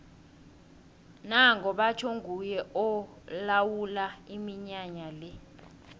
nango batjho nguye olawula iminyanya le